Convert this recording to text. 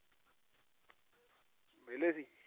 ਵਿਹਲੇ ਸੀ।